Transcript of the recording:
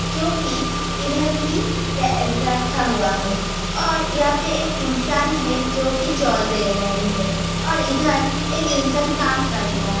जो की इधर की रखा हुआ है और यहाँ पर एक इन्सान जो की जोल दे रही है और इधर एक इन्सान काम कर रहा है।